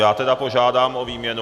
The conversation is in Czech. Já tedy požádám o výměnu.